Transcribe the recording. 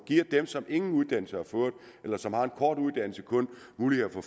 giver dem som ingen uddannelse har fået eller som har en kort uddannelse mulighed for